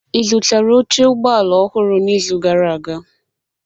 Ị zụtara oche ụgbọ ala ọhụrụ n'izu gara aga?